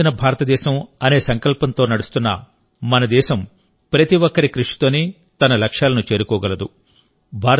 అభివృద్ధి చెందిన భారతదేశం అనే సంకల్పంతో నడుస్తున్న మన దేశం ప్రతి ఒక్కరి కృషితోనే తన లక్ష్యాలను చేరుకోగలదు